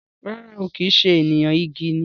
Rara ooo, kìí ṣe ènìyàn, igi ni